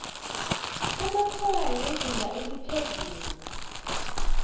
amatshwayo wezinga eliphezulu